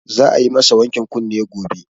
Za a yi ma sa wankin kunne gobe